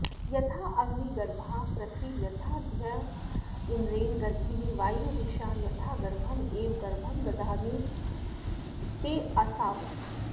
यथाऽग्निगर्भा पृथिवी यथा द्यौरिन्द्रेण गर्भिणी वायुर्दिशां यथा गर्भ एवं गर्भं दधामि तेऽसाविति